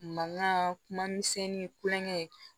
Mankan kuma misɛnnin kulonkɛ